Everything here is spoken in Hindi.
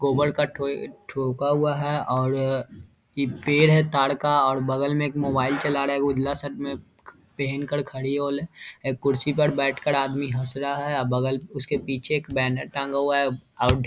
गोबर का ठो-ठोका हुआ है और अ ई पेड़ है ताड़ का बगल में मोबाईल चल रहा है। उजल शर्ट में पेहेना का बगल में कुर्सी में बैठे है रहा है उसके पीछे बैनर टेंगा हुआ है। आउट --